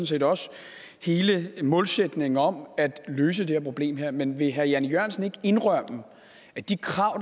set også hele målsætningen om at løse det her problem men vil herre jan e jørgensen ikke indrømme at de krav